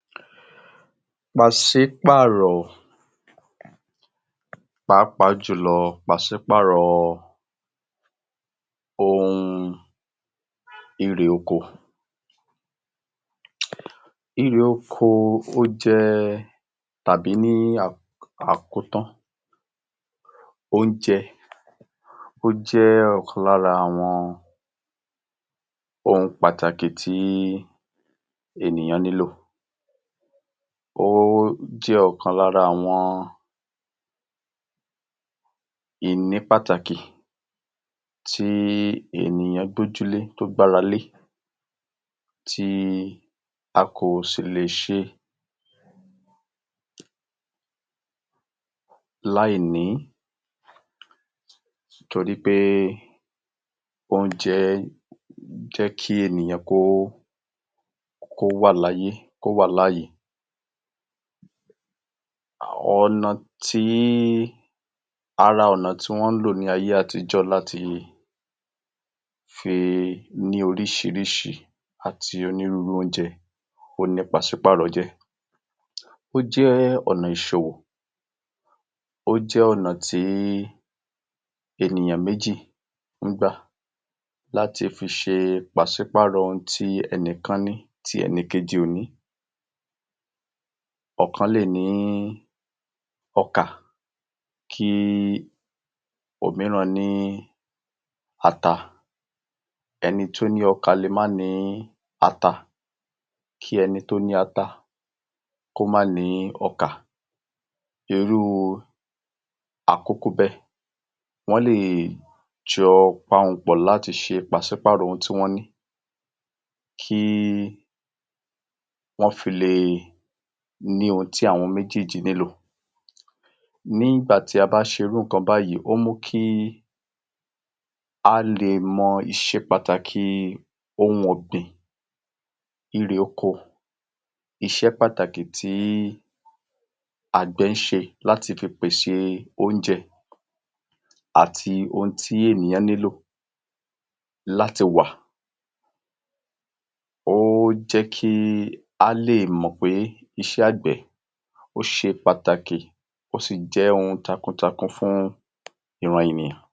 àwòrán yìí fi ilé ọkọ̀ ojú òfurufú Benin hàn, a lè rí ilé ọkọ̀ ojú òfurufú náà tí a kọ́ sí òkè pẹ̀lú òǹtẹ̀ aláwọ ewé, èyí tí ó jẹ́ kí ó hàn gbangba fún gbogbo ènìyàn tí ó wà nítòsí ibẹ̀ àti arìnrìn àjò náà. Ilé náà ni ọ̀pọ̀lọpọ̀ fèrèsé dígí ńlá, èyí tí ó jẹ́ kí iná ọ̀run lè wọlé àti kí ilé náà má jẹ̀ẹ́ dúdú, a tún lè rí ilẹ̀ tí ó dán àti mímọ́ ní iwájú ilẹ̀ náà, èyí tí ó túnmọ̀ sí pé à ń ṣe ìtọ́jú ibẹ̀ dáradára ilé ọkọ̀ òfurufú yìí, a lè rí àwọn amọ̀ ọkọ̀ ayọ́kẹ́lẹ́ kékeré kan àti díẹ̀ ninu àwọn ènìyàn tí ó jókòó tàbí tí ó dúró, ó dàbi pé ibẹ̀ wà ní àláfíà, kò sì sí ariwo púpọ̀, ẹnu ọ̀nà ilé ọkọ̀ ojú òfurufú náà sì ṣí sílẹ̀ fún àwọn arìnrìn àjò àti àwọn òṣìṣẹ́ ti ń wọlé lọ àti ti ń jáde. Òrùn wà ní pẹ̀lẹ́pẹ̀lẹ́ pẹ̀lú àwọ̀ funfun, sánmọ̀ kékeré tí ó fi hàn pé ojú ọjọ́ náà ní ìmọ́lẹ̀. ṣùgbọ́n o ko gbóná púpọ̀ jùlọ. Gbogbo àwòrán yìí fi hàn pé ilé ọkọ̀ ojú òfurufú Benin jẹ́ mímó, tó ṣe dáradára àti létò tí ó sì wà ní ipò tí ó dára fún gbígbà àti fífi ráńṣẹ́ arìnrìnajò. A tún lè rí ojú ọ̀nà ọkọ́ ayọ́kẹ́lẹ́ díẹ̀ tí a dá ní ọ̀dá tí ó sì wà nítòsí ní tónítóní. Ní àkókò tí a ya àwòrán yìí, ojú ọ̀na ọkọ̀ ayọ́kẹ́lẹ́ náà dáa tí kò sì sí ọkọ̀ ayọ́kẹ́lẹ́ ti ń rìn lásìko tí a ya àwòrán yìí.